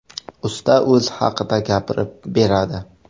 Usta o‘zi haqida gapirib beradi.